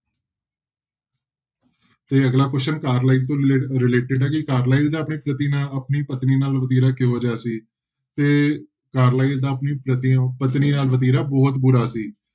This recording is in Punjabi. ਤੇ ਅਗਲਾ question ਕਾਰਲਾਈਲ ਤੋਂ ਰਿਲੇ~ related ਹੈ ਕਿ ਕਾਰਲਾਈਲ ਦਾ ਆਪਣੀ ਪਤੀ ਨਾਲ ਆਪਣੀ ਪਤਨੀ ਨਾਲ ਵਤੀਰਾ ਕਿਹੋ ਜਿਹਾ ਸੀ ਤੇ ਕਾਰਲਾਈਲ ਦਾ ਆਪਣੀ ਪਤਨੀ ਨਾਲ ਵਤੀਰਾ ਬਹੁਤ ਬੁਰਾ ਸੀ।